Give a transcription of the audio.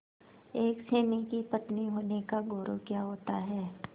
एक सैनिक की पत्नी होने का गौरव क्या होता है